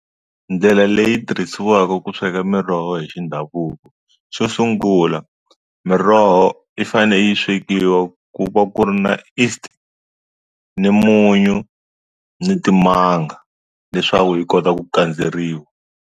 Ndlela leyi tirhisiwaka ku sweka miroho hi xa ndhavuko xo sungula miroho yi fane yi swekiwa ku va ku ri na east ni munyu ni timanga leswaku yi kota ku kandzeriwa.